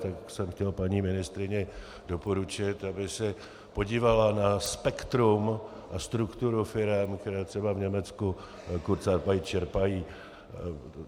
Tak jsem chtěl paní ministryni doporučit, aby se podívala na spektrum a strukturu firem, které třeba v Německu kurzarbeit čerpají.